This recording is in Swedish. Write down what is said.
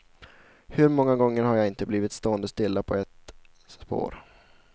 Hur många gånger har jag inte blivit stående stilla på ett spår.